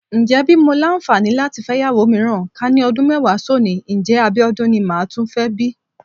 Ǹjẹ́ bí mo làǹfààní láti fẹ́yàwó mìíràn, ká ní ọdún mẹ́wàá sónìí, ǹjẹ́ Abíọ́dún ni máa tún fẹ́ bí?